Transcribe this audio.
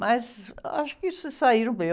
Mas acho que se saíram bem.